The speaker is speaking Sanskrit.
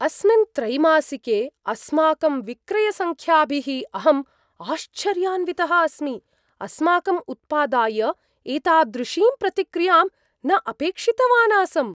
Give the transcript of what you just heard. अस्मिन् त्रैमासिके अस्माकं विक्रयसङ्ख्याभिः अहम् आश्चर्यान्वितः अस्मि, अस्माकम् उत्पादाय एतादृशीं प्रतिक्रियां न अपेक्षितवान् आसम्।